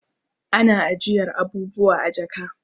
Ana ajiyar abubuwa a jaka